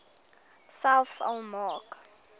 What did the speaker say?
selfs al maak